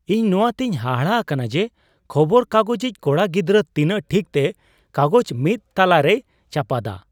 ᱤᱧ ᱱᱚᱣᱟ ᱛᱮᱧ ᱦᱟᱦᱟᱲᱟ ᱟᱠᱟᱱᱟ ᱡᱮ ᱠᱷᱚᱵᱚᱨ ᱠᱟᱜᱚᱡᱤ ᱠᱚᱲᱟ ᱜᱤᱫᱨᱟᱹ ᱛᱤᱱᱟᱹᱜ ᱴᱷᱤᱠ ᱛᱮ ᱠᱟᱜᱚᱡ ᱢᱤᱫ ᱛᱚᱞᱟᱨᱮᱭ ᱪᱟᱯᱟᱫᱟ ᱾